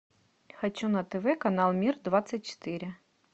хочу на тв канал мир двадцать четыре